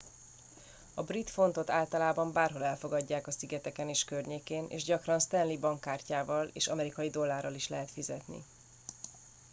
a brit fontot általában bárhol elfogadják a szigeteken és környékén és gyakran stanley bankkártyával és amerikai dollárral is lehet fizetni